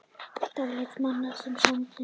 Dáleiða mann með sendingunum